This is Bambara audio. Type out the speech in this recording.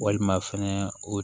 Walima fɛnɛ o